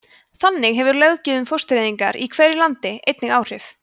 þannig hefur löggjöf um fóstureyðingar í hverju landi einnig áhrif